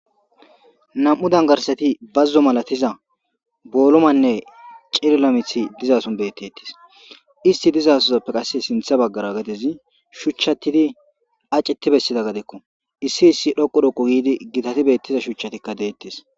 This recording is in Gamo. Nam'u dangarsati bazzo malatiza boolumanne cillamithi dizason bettettis isti dizasozappe qasse sintha baggara gadezi shuchchatidi aceti bessida gadekko issi issi dhoqu dhoqo giidi gitati beettiza shuchatikka deettes